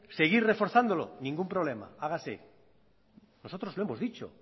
seguir reforzándolo ningún problema hágase nosotros lo hemos dicho